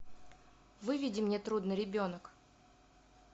выведи мне трудный ребенок